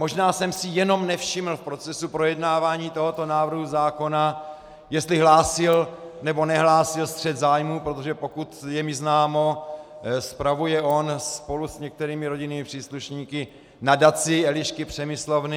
Možná jsem si jenom nevšiml v procesu projednávání tohoto návrhu zákona, jestli hlásil, nebo nehlásil střet zájmů, protože pokud je mi známo, spravuje on spolu s některými rodinnými příslušníky nadaci Elišky Přemyslovny.